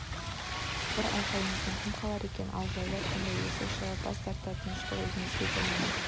бір айқайыңыздан кім қалар екен ал жаулар сонда есі шығып бас тартады тыныштықты өзіңізге де момын